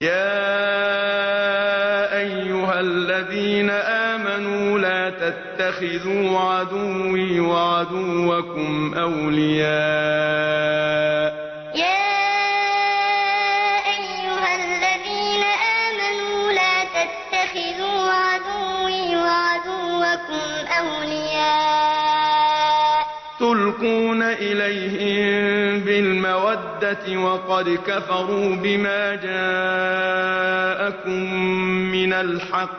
يَا أَيُّهَا الَّذِينَ آمَنُوا لَا تَتَّخِذُوا عَدُوِّي وَعَدُوَّكُمْ أَوْلِيَاءَ تُلْقُونَ إِلَيْهِم بِالْمَوَدَّةِ وَقَدْ كَفَرُوا بِمَا جَاءَكُم مِّنَ الْحَقِّ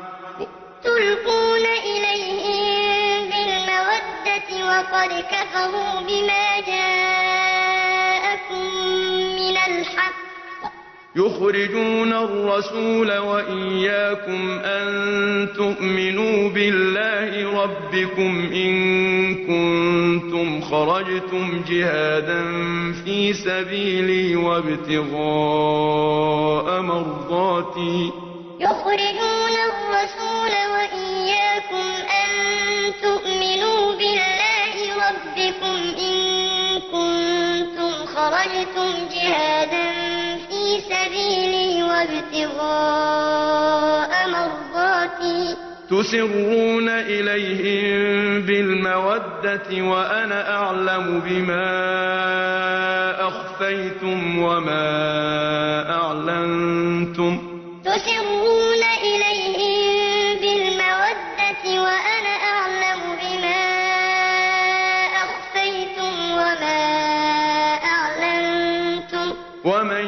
يُخْرِجُونَ الرَّسُولَ وَإِيَّاكُمْ ۙ أَن تُؤْمِنُوا بِاللَّهِ رَبِّكُمْ إِن كُنتُمْ خَرَجْتُمْ جِهَادًا فِي سَبِيلِي وَابْتِغَاءَ مَرْضَاتِي ۚ تُسِرُّونَ إِلَيْهِم بِالْمَوَدَّةِ وَأَنَا أَعْلَمُ بِمَا أَخْفَيْتُمْ وَمَا أَعْلَنتُمْ ۚ وَمَن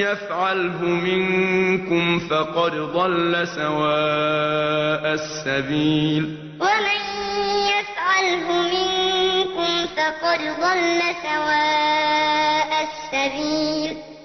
يَفْعَلْهُ مِنكُمْ فَقَدْ ضَلَّ سَوَاءَ السَّبِيلِ يَا أَيُّهَا الَّذِينَ آمَنُوا لَا تَتَّخِذُوا عَدُوِّي وَعَدُوَّكُمْ أَوْلِيَاءَ تُلْقُونَ إِلَيْهِم بِالْمَوَدَّةِ وَقَدْ كَفَرُوا بِمَا جَاءَكُم مِّنَ الْحَقِّ يُخْرِجُونَ الرَّسُولَ وَإِيَّاكُمْ ۙ أَن تُؤْمِنُوا بِاللَّهِ رَبِّكُمْ إِن كُنتُمْ خَرَجْتُمْ جِهَادًا فِي سَبِيلِي وَابْتِغَاءَ مَرْضَاتِي ۚ تُسِرُّونَ إِلَيْهِم بِالْمَوَدَّةِ وَأَنَا أَعْلَمُ بِمَا أَخْفَيْتُمْ وَمَا أَعْلَنتُمْ ۚ وَمَن يَفْعَلْهُ مِنكُمْ فَقَدْ ضَلَّ سَوَاءَ السَّبِيلِ